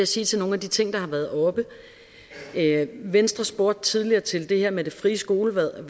sige til nogle af de ting der har været oppe venstre spurgte tidligere til det her med det frie skolevalg